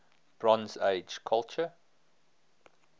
bronze age culture